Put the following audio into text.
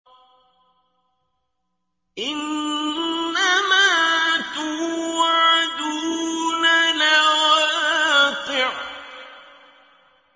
إِنَّمَا تُوعَدُونَ لَوَاقِعٌ